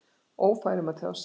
Ófær um að tjá sig?